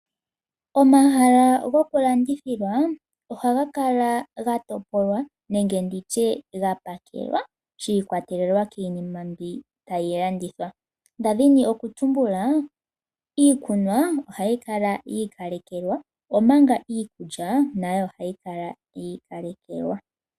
Omahala gokulandithilwa oha ga kala ga topolwa nenge nditye gapakelwa shiikwatelela kiinima mbi tayi landithwa. Ndadhini okutumbula, iikunwa oha yi kala yiikalekekwa omanga iikulya na yo oha yi kala yiikalekekwa.